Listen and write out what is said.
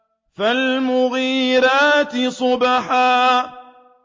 فَالْمُغِيرَاتِ صُبْحًا